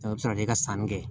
A bɛ se ka kɛ ka sanni kɛ